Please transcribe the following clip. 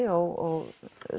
og